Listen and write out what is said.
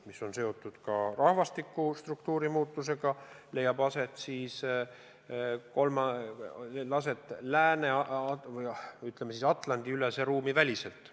See on seotud ka rahvastiku struktuuri muutustega, mis leiavad aset, ütleme siis, Atlandi-ülese ruumi väliselt.